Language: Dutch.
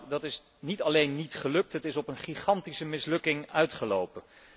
Dat is niet alleen niet gelukt, het is op een gigantische mislukking uitgelopen.